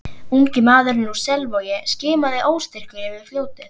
Ungi maðurinn úr Selvogi skimaði óstyrkur yfir fljótið.